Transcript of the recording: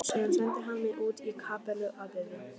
Síðan sendi hann mig út í kapellu að biðja.